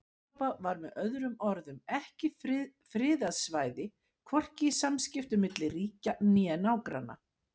Evrópa var með öðrum orðum ekki friðað svæði hvorki í samskiptum milli ríkja né nágranna.